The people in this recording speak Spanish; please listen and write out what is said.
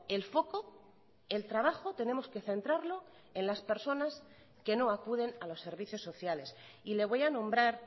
el foco el trabajo tenemos que centrarlo en las personas que no acuden a los servicios sociales y le voy a nombrar